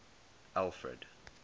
alfred